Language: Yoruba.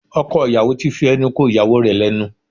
Ọkọ ìyàwó ti fi ẹnu ko ìyàwó rẹ̀ lẹ́nu